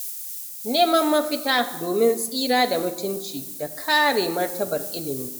Neman mafita domin tsira da mutunci da kare martabar ilimi.